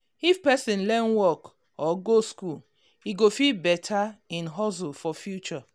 if person learn work or go school e go fit better im hustle for future.